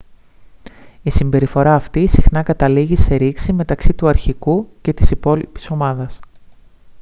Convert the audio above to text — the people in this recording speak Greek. η συμπεριφορά αυτή συχνά καταλήγει σε ρήξη μεταξύ του αρχηγού και της υπόλοιπης ομάδας